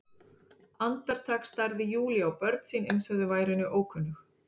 Andartak starði Júlía á börn sín eins og þau væru henni ókunnug.